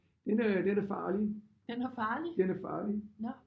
Den øh den er farlig. Den er farlig